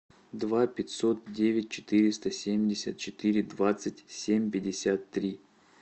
два пятьсот девять четыреста семьдесят четыре двадцать семь пятьдесят три